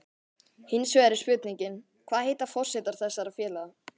Hinsvegar er spurningin, hvað heitar forsetar þessara félaga?